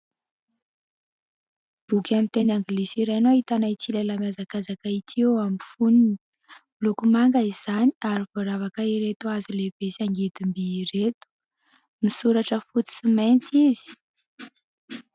Boky amin'ny teny anglisy iray no ahitana ity lehilahy mihazakazaka ity, eo amin'ny foniny miloko manga izany ary voaravaka ireto hazo lehibe sy angidimby ireto, misoratra fotsy sy mainty izy.